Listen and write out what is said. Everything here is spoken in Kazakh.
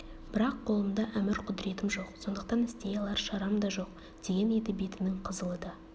бірақ қолымда әмір құдіретім жоқ сондықтан істей алар шарам да жоқ деген еді бетінің қызылы да